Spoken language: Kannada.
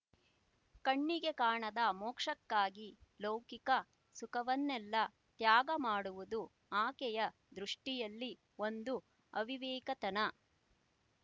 ಕಣ್ಣಿಗೆ ಕಾಣದ ಮೋಕ್ಷಕ್ಕಾಗಿ ಲೌಕಿಕ ಸುಖವನ್ನೆಲ್ಲ ತ್ಯಾಗ ಮಾಡುವುದು ಆಕೆಯ ದೃಷ್ಟಿಯಲ್ಲಿ ಒಂದು ಅವಿವೇಕತನ